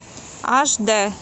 аш дэ